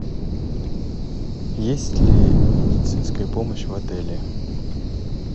есть ли медицинская помощь в отеле